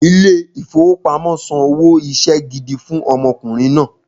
Ilé ìfowópamọ́ san owó iṣẹ́ gidi fún ọmọkùnrin náà